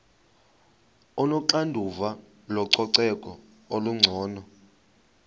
onoxanduva lococeko olungcono